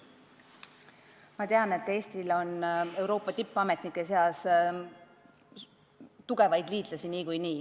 Ma tean, et Eestil on Euroopa tippametnike seas tugevaid liitlasi.